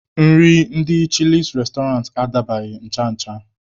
Nri ndị chịlịs restoranti adabaghị ncha ncha.